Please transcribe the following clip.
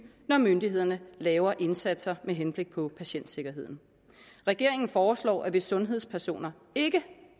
når myndighederne laver indsatser med henblik på patientsikkerheden regeringen foreslår at hvis sundhedspersoner ikke